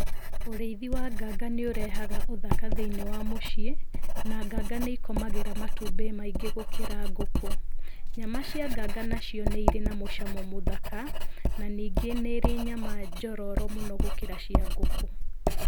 Ũrĩithi wa nganga nĩũrehaga ũthaka thĩiniĩ wa muciĩ na nganga nĩikomagĩra matumbĩ maingĩ gũkĩra ngũkũ. Nyama cia nganga nacio nĩ irĩ na mucamo mũthaka na ningĩ nĩ ĩrĩ nyama njororo mũno gũkĩra cĩa ngũkũ.